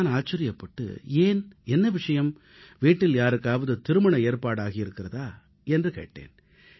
நான் ஆச்சரியப்பட்டு ஏன் என்ன விஷயம் வீட்டில் யாருக்காவது திருமணம் போன்ற வைபவம் நடந்ததா என்று கேட்டேன்